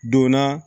Donna